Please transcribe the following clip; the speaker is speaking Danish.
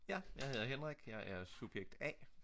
Ja jeg hedder Henrik jeg er subjekt A